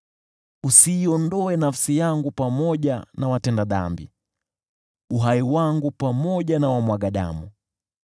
Usiiondoe nafsi yangu pamoja na watenda dhambi, wala uhai wangu pamoja na wamwagao damu,